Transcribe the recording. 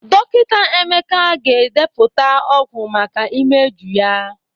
Dọkịta Emeka ga-edepụta ọgwụ maka imeju ya